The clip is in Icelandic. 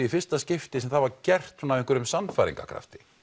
í fyrsta skipti sem það var gert af einhverjum sannfæringarkrafti